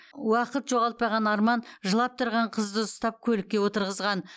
уақыт жоғалтпаған арман жылап тұрған қызды ұстап көлікке отырғызған